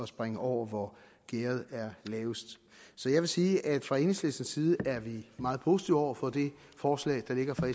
springe over hvor gærdet er lavest så jeg vil sige at fra enhedslistens side er meget positive over for det forslag der ligger fra